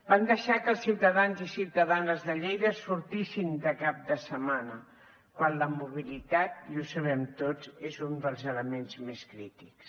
van deixar que els ciutadans i ciutadanes de lleida sortissin de cap de setmana quan la mobilitat i ho sabem tots és un dels elements més crítics